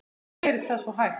Hví gerist það svo hægt?